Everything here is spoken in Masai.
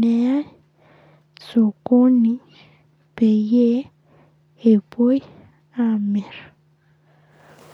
neyai sokoni peyie epuoi aamir.